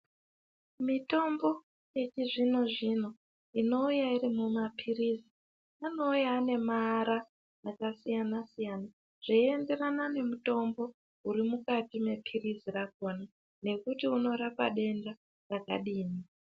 Mitombo yechizvino zvino inouya iri mumapirisi anouya ane maara akasiyana siyana zveyienderana nemutombo uri mukati mepirisi rakona nekuti unorapa denda rakadini.